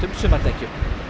sumardekkjum